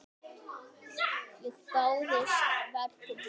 Ég dáðist að verkum hennar.